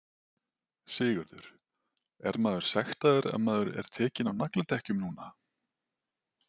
Sigurður: Er maður sektaður ef maður er tekinn á nagladekkjum núna?